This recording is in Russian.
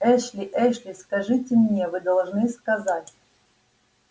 эшли эшли скажите мне вы должны сказать